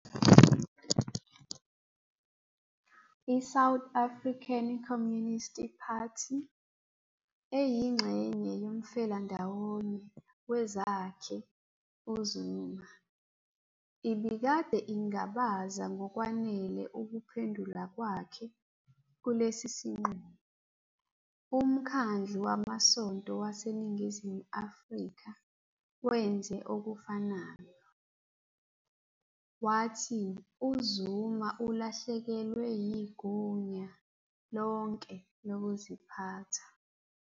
I- South African Communist Party, eyingxenye yomfelandawonye wezakhe uZuma, ibikade ingabaza ngokwanele ukuphendula kwakhe kulesi sinqumo. UMkhandlu WamaSonto waseNingizimu Afrika wenze okufanayo, wathi uZuma "ulahlekelwe yigunya lonke lokuziphatha".